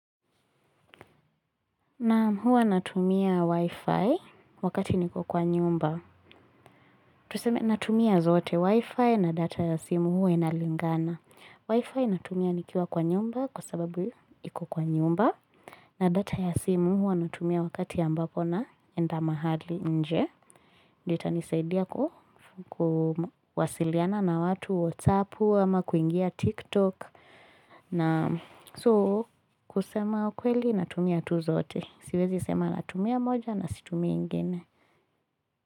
Naam huwa natumia wi-fi wakati niko kwa nyumba. Tuseme natumia zote wi-fi na data ya simu huwa inalingana. Wi-fi natumia nikiwa kwa nyumba kwa sababu iko kwa nyumba. Na data ya simu huwa naitumia wakati ambapo naenda mahali nje. Ndio itanisaidia kuwasiliana na watu, whatsapp ama, kuingia tiktok. Na so kusema ukweli natumia tu zote. Siwezi sema natumia moja na situmii ingine.